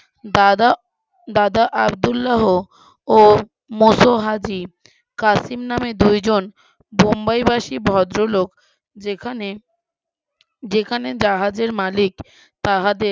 দাদা দাদা আবদুল্লাহ ও মোশো হাবিব কাশিম নামে দুই জন বোম্বাই বাসী ভদ্রলোক যেখানে যেখানে জাহাজের মালিক তাহাদের,